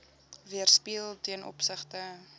weerspieël ten opsigte